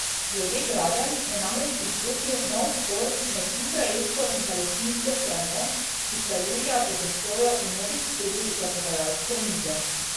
Glede gradenj je namreč izbruhnil nov spor med izraelsko in palestinsko stranjo, ki sta julija po zastoju vnovič sedli za pogajalsko mizo.